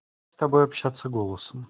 с тобой общаться голосом